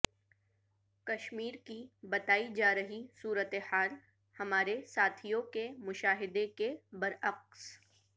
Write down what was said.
کشمیرکی بتائی جارہی صورت حال ہمارے ساتھیوں کے مشاہدے کے برعکس